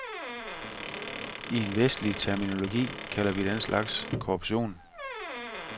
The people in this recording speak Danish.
I en vestlig terminologi kalder vi den slags korruption.